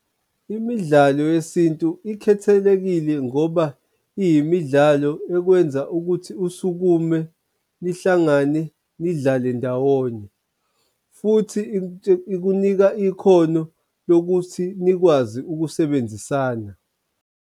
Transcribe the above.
Imidlalo yesintu ikhethelekile ngoba iyimidlalo ekwenza ukuthi usukume nihlangane nidlale ndawonye, futhi ikunika ikhono lokuthi nikwazi ukusebenzisana.